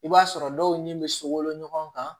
I b'a sɔrɔ dɔw ni bɛ sokolo ɲɔgɔn kan